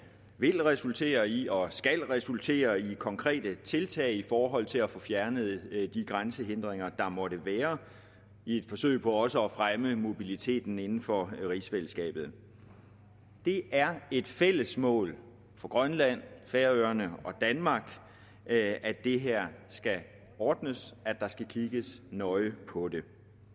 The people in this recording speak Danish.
vil resultere i og skal resultere i konkrete tiltag i forhold til at få fjernet de grænsehindringer der måtte være i et forsøg på også at fremme mobiliteten inden for rigsfællesskabet det er et fælles mål for grønland færøerne og danmark at det her skal ordnes at der skal kigge nøje på det